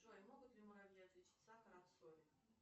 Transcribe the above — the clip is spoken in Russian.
джой могут ли муравьи отличить сахар от соли